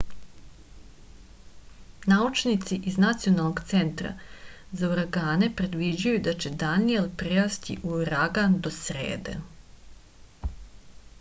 naučnici iz nacionalnog centra za uragane predviđaju da će daniel prerasti u uragan do srede